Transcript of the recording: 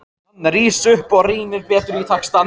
Hann rís upp og rýnir betur í textann.